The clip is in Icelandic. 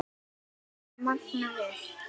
Magnað alveg.